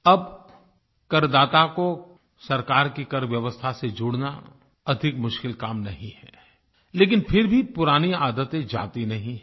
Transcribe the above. अब करदाता को सरकार की करव्यवस्था से जोड़ना अधिक मुश्किल काम नहीं है लेकिन फिर भी पुरानी आदतें जाती नहीं हैं